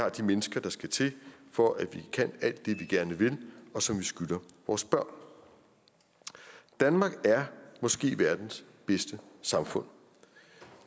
og de mennesker der skal til for at vi kan alt vi gerne vil og som vi skylder vores børn danmark er måske verdens bedste samfund og